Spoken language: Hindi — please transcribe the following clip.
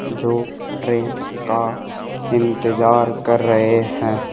जो ट्रेन का इंतजार कर रहे हैं।